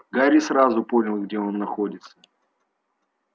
гарри сразу понял где он находится